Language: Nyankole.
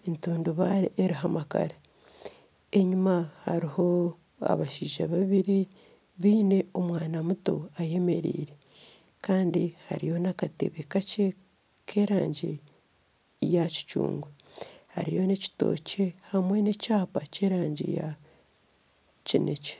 n'entundubare eriho amakara, enyima hariho abashaija babiri, biine omwana muto ayemereire kandi hariyo n'akatebe kakye k'erangi ya kicungwa hariyo n'ekitookye hamwe n'ekyapa ky'erangi ya kinekye